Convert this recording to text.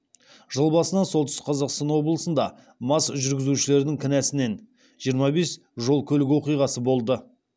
жыл басынан солтүстік қазақстан облысында мас жүргізушілердің кінәсінен жиырма бес жол көлік оқиғасы болды